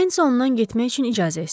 Nensi ondan getmək üçün icazə istədi.